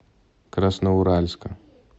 красноуральска